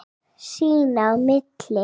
Sín á milli.